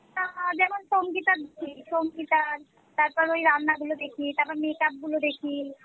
আহ যেমন সংগীতা হম সংগীতা তারপর ঐ রান্নাগুলো দেখি তারপর make-up গুলো দেখি